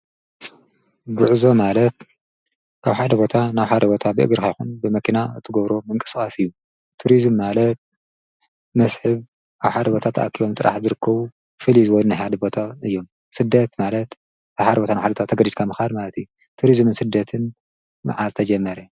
ግዕዞ ማለት ካብ ሓደ ቦታ ናብሓደ ቦታ ብእግር ይኹን ብመኪና እትጐብሮ ምንቀስቃስ እዩ። ቱርዝም ማለት መስሕብ ኣብ ሓደ ቦታ ተኣኪቦም ጥራሕ ዝርክቡ ፊሊይ ዝበሉ ናይ ሓደ ቦታ እዩም። ስደት ማለት ካብ ሓደ ቦታ ናብ ካሊእ ቦታ ተገዲድካ ምኻድ ማለት እዩ። ቱርዝምን ስደትን መዓዝ ተጀመረ?